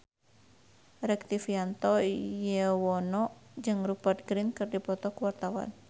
Rektivianto Yoewono jeung Rupert Grin keur dipoto ku wartawan